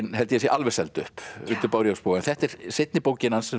held ég að sé alveg seld upp undir bárujárnsboga en þetta er seinni bókin hans sem